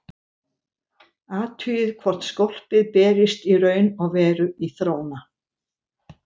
Athugið hvort skólpið berist í raun og veru í þróna.